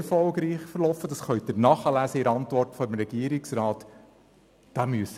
Dies können Sie in der Antwort des Regierungsrats nachlesen.